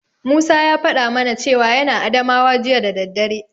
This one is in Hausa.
Musa ya faɗa mana cewa yana Adamawa jiya da daddare.